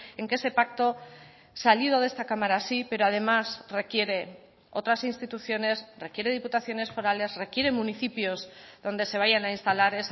en que ese pacto salido de esta cámara sí pero además requiere otras instituciones requiere diputaciones forales requiere municipios donde se vayan a instalar